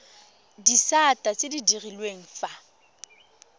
disata tse di direlwang fa